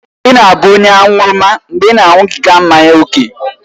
Ị na-abụ onye aṅụrụma mgbe ị na-aṅụbiga mmanya ókè